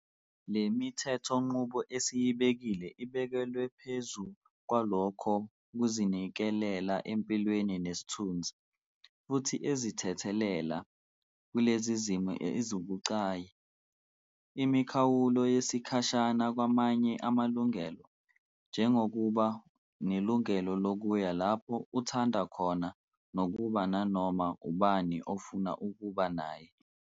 Le mithethonqubo esiyibekile ibekelwe phezu kwalokho kuzinikelela empilweni nesithunzi, futhi ezithethelela - kulezi zimo ezibucayi - imikhawulo yesikhashana kwamanye amalungelo, njengokuba nelungelo lokuya lapho uthanda khona nokuba nanoma ubani ofuna ukuba naye.